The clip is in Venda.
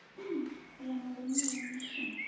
nn u ya vhurumiwa mishini